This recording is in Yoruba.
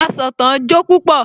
Asọ̀tàn jó púpọ̀